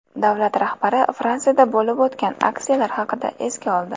Davlat rahbari Fransiyada bo‘lib o‘tgan aksiyalar haqida esga oldi.